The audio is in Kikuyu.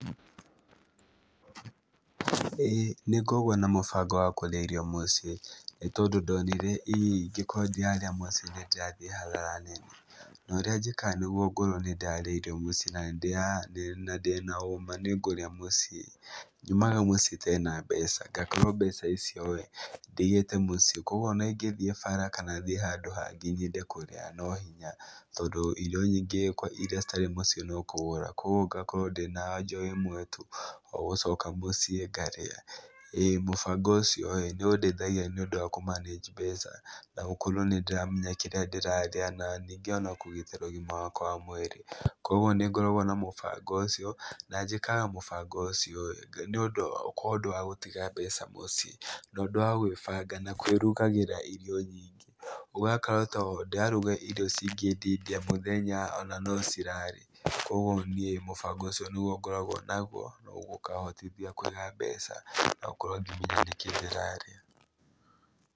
Ĩĩ nĩngoragwo na mũbango wa kũrĩa irio mũciĩ. Nĩ tondũ ndonire irio ingĩ kwanja nyama ici nĩndĩrathiĩ hathara nene. No ũrĩa njĩkaga nĩguo ngorũo nĩndĩrarĩa irio mũciĩ na nĩndĩraa, na ndĩna ũma nĩngũrĩa mũciĩ, nyumaga mũciĩ itarĩ na mbeca. Ngakorwo mbeca icio ĩĩ ndigĩĩte mũciĩ. Kũoguo ona igĩthiĩ bara kana thiĩ handũ hangĩ nyende kũrĩa no hinya, tondũ irio nyingĩ iria citarĩ mũciĩ no kũgũra. kũoguo ngakorwo ndĩna aja o ĩ mwe tu - o gũcoka mũcii ngarĩa. Ĩĩ mũbango ũcio ĩ, nĩ ũndeithagia nĩ ũndũ wa kũmaneji mbeca, na gũkorwo nĩndĩramenya kĩrĩa ndĩrarĩa na ningĩ ona kũgitĩra ũgima wakwa wa mwĩrĩ. Kũoguo nĩngoragwo na mũbango ũcio, na njĩkaga mũbango ũcio ĩĩ nĩũndũ ko ũndũ wa gũtiga mbeca mũciĩ. Tondũ wa gwĩbanga na kwĩrugagĩra irio nyiingĩ, ũgakora taa ndĩraruga irio ciingendindia mũthenya ona no cirare. Kũoguo niĩ mũbango ũcio nĩguo ngoragwo ũguo ũkaahotothia kũiga mbeca na gũkorwo ngĩmenya nĩkĩĩ ndĩrarĩa.